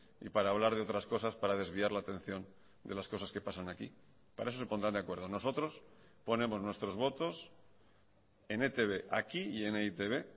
y para hablar de otras cosas para desviar la atención de las cosas que pasan aquí para eso se pondrán de acuerdo nosotros ponemos nuestros votos en etb aquí y en e i te be